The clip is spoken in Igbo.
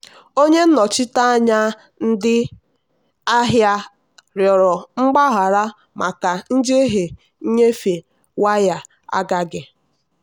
onye nnochite anya ndị ahịa rịọrọ mgbaghara maka njehie nnyefe waya agaghị.